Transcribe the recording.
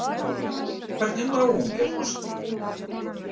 Hvernig náungi er forsetinn?